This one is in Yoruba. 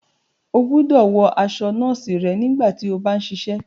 O gbọdọ wọ aṣọ nọọsi rẹ nígbàtí o bá n ṣiṣẹ!